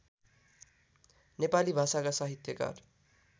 नेपाली भाषाका साहित्यकार